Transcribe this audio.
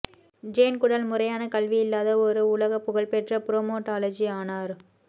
Jane Goodall முறையான கல்வி இல்லாத ஒரு உலக புகழ் பெற்ற ப்ரமோடாலஜி ஆனார்